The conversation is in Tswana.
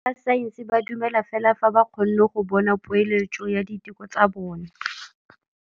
Borra saense ba dumela fela fa ba kgonne go bona poeletsô ya diteko tsa bone.